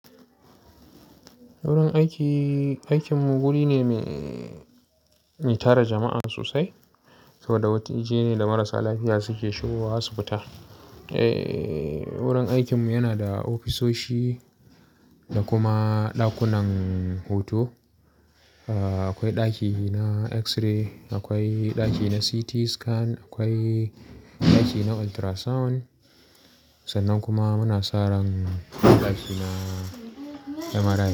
Wurin aiki, aikinmu guri ne me, tara jama'a sosai saboda wata waje ne da marasa lafiya suke shigo wa asibita. Eh wurin aikinmu yana da ofisoshi da kuma ɗakunan huto. Ah akwai ɗaki na x-ray, akwai ɗaki na CT scan, akwai ɗaki na ultrasound sannan kuma muna sa ran ɗaki na kamara.